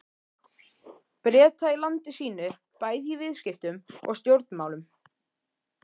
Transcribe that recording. Breta í landi sínu bæði í viðskiptum og stjórnmálum.